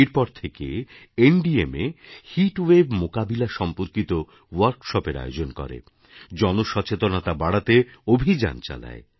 এরপর থেকে এনডিএমএHeat ওয়েভ মোকাবিলা সম্পর্কিত ওয়ার্কশপ এর আয়োজন করে জনসচেতনতা বাড়াতে অভিযান চালায়